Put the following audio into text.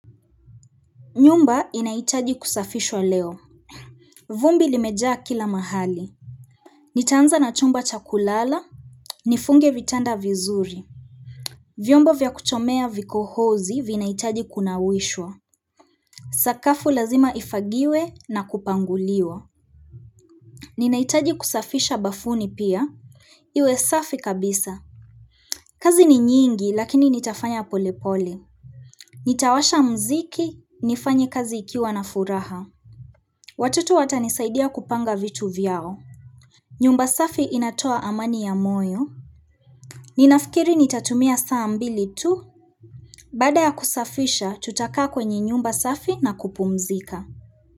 Nyumba inahitaji kusafishwa leo. Vumbi limejaa kila mahali. Nitaanza na chumba chakulala. Nifunge vitanda vizuri. Vyombo vya kuchomea vikohozi vinahitaji kunawishwa. Sakafu lazima ifagiwe na kupanguliwa. Ninahitaji kusafisha bafuni pia. Iwe safi kabisa. Kazi ni nyingi lakini nitafanya polepole. Nitawasha muziki, nifanye kazi ikiwa na furaha. Watoto watanisaidia kupanga vitu vyao. Nyumba safi inatoa amani ya moyo. Ninafikiri nitatumia saambili tu. Baada ya kusafisha, tutakaa kwenye nyumba safi na kupumzika.